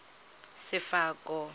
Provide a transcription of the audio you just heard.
sefako